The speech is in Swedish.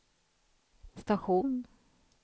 station